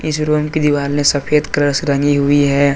इस रूम की दीवार ने सफेद कलर से रंगी हुई है।